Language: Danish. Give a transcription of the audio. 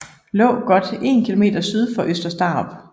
Lå godt 1 km syd for Øster Starup